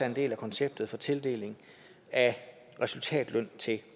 en del af konceptet for tildeling af resultatløn til